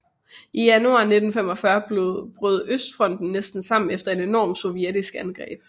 I januar 1945 brød østfronten næsten sammen efter et enormt sovjetisk angreb